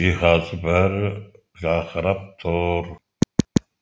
жиһазы бәрі жарқырап тұр